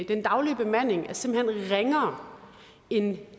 den daglige bemanding er simpelt hen ringere end